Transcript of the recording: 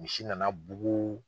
Misi na na bugu.